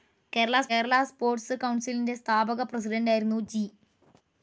Kerala sports കൌൺസിലിൻ്റെ സ്ഥാപക പ്രസിഡൻ്റായിരുന്നു ജി.